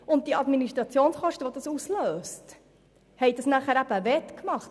Die dadurch entstehenden Administrationskosten haben den Unterschied wettgemacht.